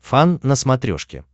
фан на смотрешке